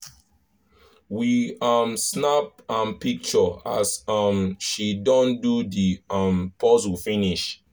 we um snap m picture as um she don do the um puzzle finish